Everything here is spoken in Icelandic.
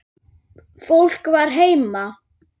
Fólk var heima.